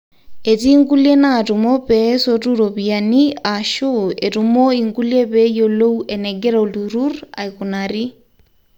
etii nkulie naatumo pee esotu iropiyiani aashu etumo inkulie pee eyiolou enegira olturru aikunari